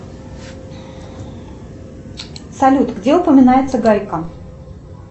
салют где упоминается гайка